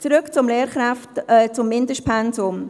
Zurück zum Mindestpensum: